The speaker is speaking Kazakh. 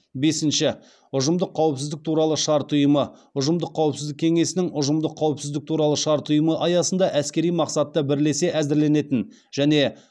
бесінші ұжымдық қауіпсіздік туралы шарт ұйымы ұжымдық қауіпсіздік кеңесінің ұжымдық қауіпсіздік туралы шарт ұйымы аясында әскери мақсатта бірлесе әзірленетін және